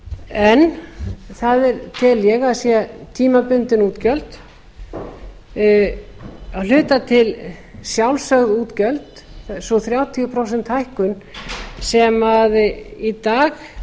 en það tel ég að séu tímabundin útgjöld að hluta til sjálfsögð útgjöld sú þrjátíu prósent hækkun sem í dag